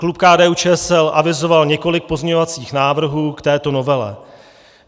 Klub KDU-ČSL avizoval několik pozměňovacích návrhů k této novele.